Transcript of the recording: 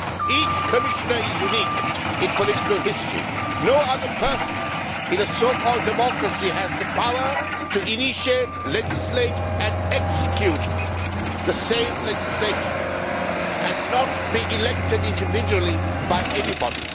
Each commissioner is unique in political history. No other person in a so called democracy has the power to initiate, legislate and execute the same legislation and not be elected individually by anybody.